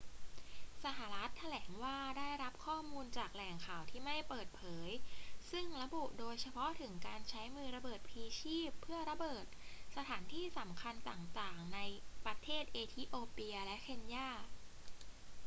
สหรัฐฯ แถลงว่าได้รับข้อมูลจากแหล่งข่าวที่ไม่เปิดเผย ซึ่งระบุโดยเฉพาะถึงการใช้มือระเบิดพลีชีพเพื่อระเบิด สถานที่สำคัญต่าง ๆ ในประเทศเอธิโอเปียและเคนยา